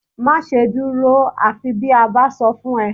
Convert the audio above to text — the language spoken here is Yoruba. Máṣe dúró àfi bí a bá sọ fún ẹ